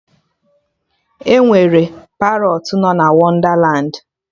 Enwere Parọtụ no na Wondalandi